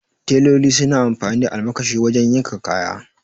Teloli suna amfani da almakashi wajen yanka kaya